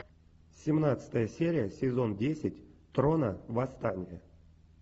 семнадцатая серия сезон десять трона восстание